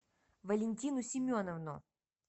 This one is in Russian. валентину семеновну